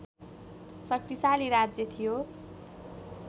शक्तिशाली राज्य थियो